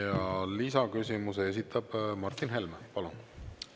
Ja lisaküsimuse esitab Martin Helme, palun!